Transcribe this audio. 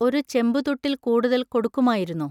ഒരു ചെമ്പുതുട്ടിൽ കൂടുതൽ കൊടുക്കുമായിരുന്നോ?